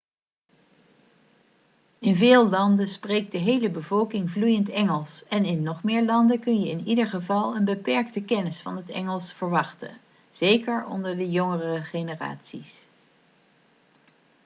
in veel landen spreekt de hele bevolking vloeiend engels en in nog meer landen kun je in ieder geval een beperkte kennis van het engels verwachten zeker onder de jongere generaties